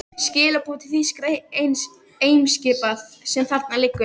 Skilaboð til þýskra eimskipa, sem þarna liggja.